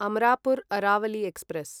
Amarapur Aravali express